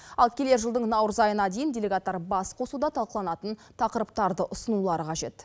ал келер жылдың наурыз айына дейін делегаттар басқосуда талқыланатын тақырыптарды ұсынулары қажет